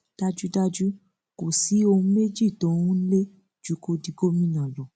dájúdájú kò sí ohun méjì tó ń lé ju kó di gómìnà lọ